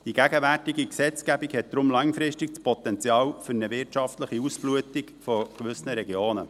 Die gegenwärtige Gesetzgebung hat darum langfristig das Potenzial für eine wirtschaftliche Ausblutung von gewissen Regionen.